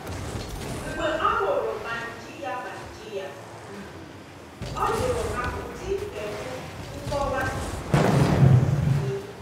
Mgbe ọ hụrụ baajị ya baajị ya um, ọ jụrụ ya ụdị kaadị nkọwa o um yi.